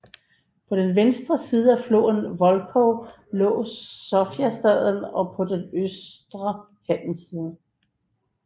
På den vestre side af floden Volkhov lå Sofiastaden og på den østre handelssiden